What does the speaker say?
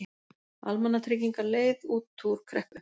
Almannatryggingar leið út úr kreppu